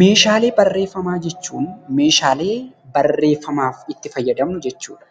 Meeahalee barreeffamaa jechuun meeshaalee barreeffamaaf itti faayadamnu jechuudha.